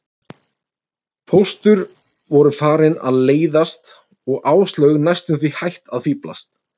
Póstur voru farin að leiðast og Áslaug næstum því hætt að fíflast.